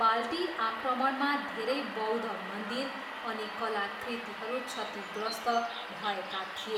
बाल्टी आक्रमणमा धेरै बौद्ध मन्दिर अनि कलाकृतिहरू क्षतिग्रस्त भएका थिए।